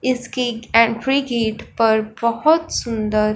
इसकी entry gate पर बहोत सुंदर--